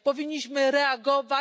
Powinniśmy reagować.